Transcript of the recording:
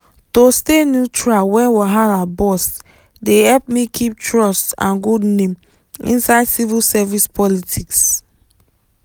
to stay neutral when wahala burst dey help me keep trust and good name inside civil service politics.